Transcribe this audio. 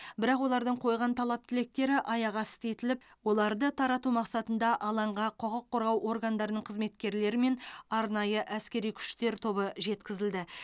бірақ олардың қойған талап тілектері аяқ асты етіліп оларды тарату мақсатында алаңға құқық қорғау органдарының қызметкерлері мен арнайы әскери күштер тобы жеткізілді